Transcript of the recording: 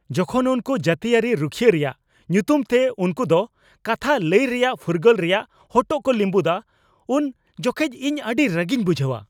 ᱡᱚᱠᱷᱚᱱ ᱩᱱᱠᱩ ᱡᱟᱹᱛᱤᱭᱟᱹᱨᱤ ᱨᱩᱠᱷᱟᱹᱭᱤ ᱨᱮᱭᱟᱜ ᱧᱩᱛᱩᱢ ᱛᱮ ᱩᱱᱠᱚᱫᱚ ᱠᱟᱛᱷᱟ ᱞᱟᱹᱭ ᱨᱮᱭᱟᱜ ᱯᱷᱩᱨᱜᱟᱹᱞ ᱨᱮᱭᱟᱜ ᱦᱚᱴᱚ ᱠᱚ ᱞᱤᱸᱵᱟᱹᱫᱟ ᱩᱱ ᱡᱚᱠᱷᱮᱱ ᱤᱧ ᱟᱹᱰᱤ ᱨᱟᱹᱜᱤᱧ ᱵᱩᱡᱷᱟᱹᱣᱟ ᱾